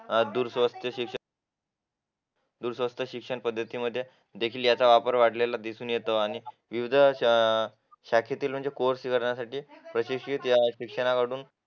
अडुर शिक्षण संस्था स्वस्त शिक्षण पद्धतीमध्ये सुद्धा याचा वापर वाढलेला आहे आणि युद्ध शाखेतील कोर्स करण्यासाठी प्रशिक्षित या शिक्षणाकडून